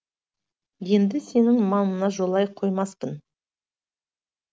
енді сенің маңыңа жолай қоймаспын